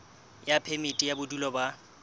ya phemiti ya bodulo ba